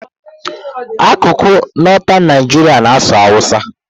Akụkụ Northern Nigeria na-asụ Hausa.